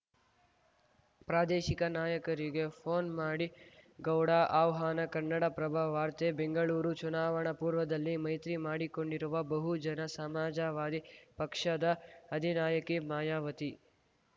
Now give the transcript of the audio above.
ಪ್ರಾದೇಶಿಕ ನಾಯಕರಿಗೆ ಫೋನ್‌ ಮಾಡಿ ಗೌಡ ಆಹ್ವಾನ ಕನ್ನಡಪ್ರಭ ವಾರ್ತೆ ಬೆಂಗಳೂರು ಚುನಾವಣಾ ಪೂರ್ವದಲ್ಲಿ ಮೈತ್ರಿ ಮಾಡಿಕೊಂಡಿರುವ ಬಹುಜನ ಸಮಾಜವಾದಿ ಪಕ್ಷದ ಅಧಿನಾಯಕಿ ಮಾಯಾವತಿ